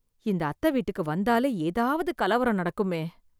இந்த அத்த வீட்டுக்கு வந்தாலே ஏதாவது கலவரம் நடக்குமே